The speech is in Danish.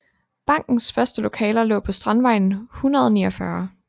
Bankens første lokaler lå på Strandvejen 149